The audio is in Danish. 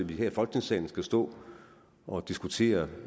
vi her i folketingssalen skal stå og diskutere